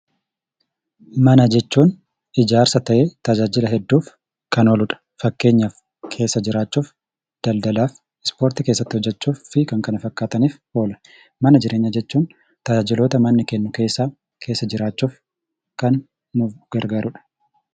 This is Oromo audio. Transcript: Mana jechuun ijaarsa ta'ee tajaajila hedduuf kan ooludha. Fakkeenyaaf keessa jiraachuuf, daldalaaf, Ispoortii keessatti hojjechuu fi kan kana fakkaataniif oola. Mana jireenyaa jechuun tajaajiloota manni kennu keessaa keessa jiraachuuf kan nu gargaarudha.